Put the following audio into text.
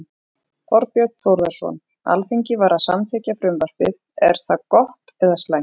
Þorbjörn Þórðarson: Alþingi var að samþykkja frumvarpið, er það gott eða slæmt?